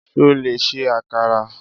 Ṣo lè ṣe àkàrà?